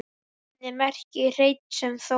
Nafnið merkir hrein sem Þór